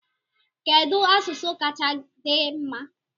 Kedu asụsụ kacha di mma?